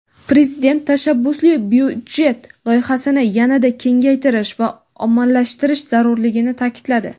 Prezident "Tashabbusli byudjet" loyihasini yana-da kengaytirish va ommalashtirish zarurligini taʼkidladi.